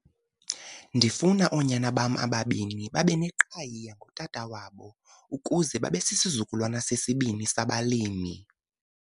"Ndifuna oonyana bam ababini babe neqhayiya ngotata wabo ukuze babe sisizukulwana sesibini sabalimi."